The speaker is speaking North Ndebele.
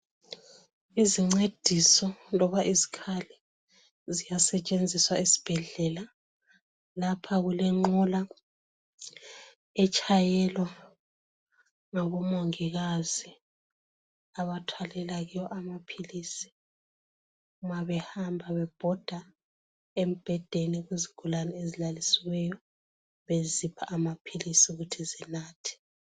Izincediso loba izikhali ziyasetshenziswa esibhedlela. Lapha kulenqola etshayelwa ngabomongikazi abathwalela kiyo amaphilisi ma behamba bebhoda embhedeni kuzigulane ezilalisiweyo bezipha amaphilisi ukuthi zinathe.